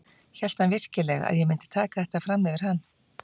Hélt hann virkilega að ég myndi taka þetta fram yfir hann?